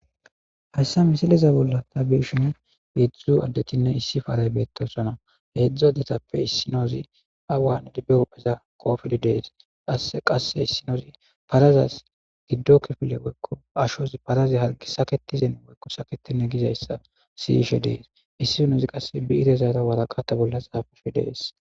Hayssa misileza bolla taabeshina heedzdzuzu addetchinne issi faaray beettosona heedzdzu adetappe issinoozi awan idibbe opheza koofidi dees qa qasse issinoozi parazas giddo kifile woykko ashozi parazi hargi saketizen woykko saketine gizayssa siyishe dees issinozi qasse biirezaata waraqata bolla xaafufhe dees